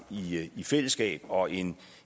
i fællesskab og en